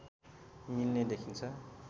मिल्ने देखिन्छ